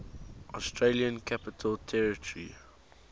australian capital territory